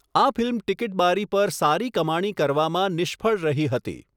આ ફિલ્મ ટીકીટબારી પર સારી કમાણી કરવામાં નિષ્ફળ રહી હતી.